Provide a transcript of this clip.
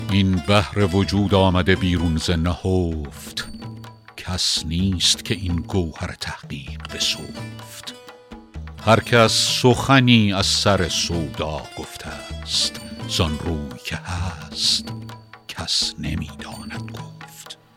این بحر وجود آمده بیرون ز نهفت کس نیست که این گوهر تحقیق بسفت هر کس سخنی از سر سودا گفته است زان روی که هست کس نمی داند گفت